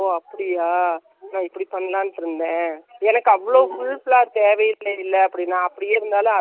இதுதான் போடா போரோம்ன்னு சொன்னா, என்னக்கு function க்கு போடுறதா, சொதப்பிட்டா என்ன பண்ணுறது வெளில கொடுக்கலான்னு இருக்கானு சொன்னா.